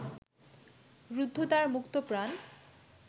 রুদ্ধদ্বার মুক্তপ্রাণ